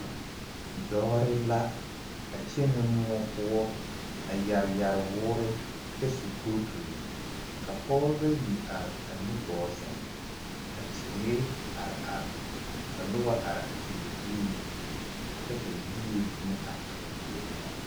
Dɔɔre la a kyɛnɛ moɔ poɔ a yɛre yɛre woore kyɛ su kooturi ka pɔgebɔ bayi are a nu gɔɔ seŋ ka teere are are ka noba are a teere puliŋ kyɛ ka yie meŋ are a ba puoriŋ.